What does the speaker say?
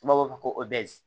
N'a b'a fɔ ko